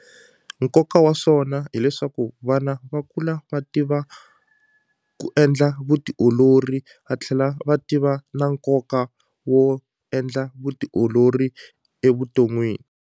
Nkoka wa swona hileswaku vana va kula va tiva ku endla vutiolori va tlhela va tiva na nkoka wo endla vutiolori evuton'wini.